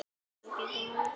Edda glottir út í annað.